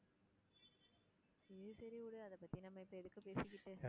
சரி சரி விடு, அத பத்தி நம்ம இப்போ எதுக்கு பேசிக்கிட்டு.